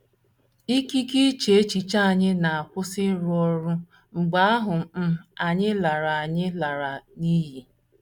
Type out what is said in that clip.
Ikike iche echiche anyị na - akwụsị ịrụ ọrụ mgbe ahụ́ um anyị lara anyị lara n’iyi.